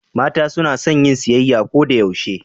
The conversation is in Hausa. mata sunason yin siyayya Koda yaushe